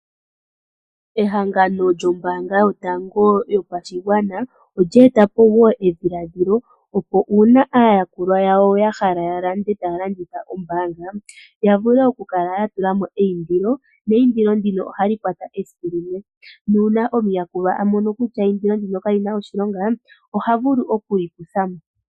Ehangano lyoombaanga yotango yopashigwana olyee tapo wo edhiladhilo, opo uuna aayakulwa yawo ya hala ya lande taa longitha ombaanga, ya vule oku kala ya tula mo eyindilo, neyindilo ndino oha li kwata esiku limwe. Nuuna omuyakulwa a mono kutya eyindilo ndino kali na we oshilonga, ohavulu oku li kutha mo.